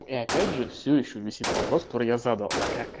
и опять же все ещё висит вопрос который я задал а как